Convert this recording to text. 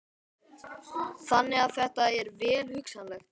Þannig að þetta er vel hugsanlegt?